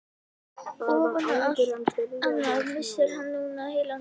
Ofan á allt annað missir hann núna heilan bát.